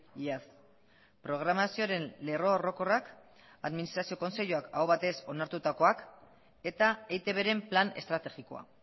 iaz programazioaren lerro orokorrak administrazio kontseiluak aho batez onartutakoak eta eitbren plan estrategikoa